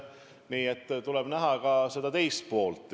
Nii et tuleb näha ka teist poolt.